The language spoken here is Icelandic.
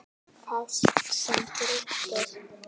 þar sem gildir